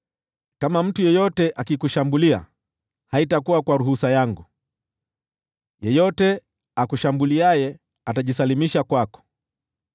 Kama mtu yeyote akikushambulia, haitakuwa kwa ruhusa yangu; yeyote akushambuliaye atajisalimisha kwako.